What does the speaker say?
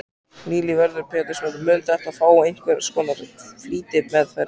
Lillý Valgerður Pétursdóttir: Mun þetta fá einhvers konar flýtimeðferð?